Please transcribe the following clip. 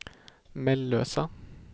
Mellösa